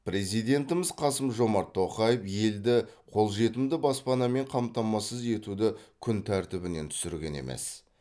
президентіміз қасым жомарт тоқаев елді қолжетімді баспанамен қамтамасыз етуді күн тәртібінен түсірген емес